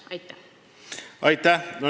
Aitäh!